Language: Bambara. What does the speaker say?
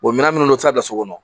minɛn minnu bɛ taa bila so kɔnɔ